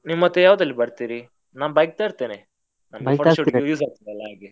ನೀವ್ ಮತ್ತೆ ಯಾವ್ದ್ರಲ್ಲಿ ಬರ್ತೀರಿ, ನಾನ್ bike ತರ್ತೇನೇ, use ಆಗ್ತದೆ ಅಲ್ಲ ಹಾಗೆ.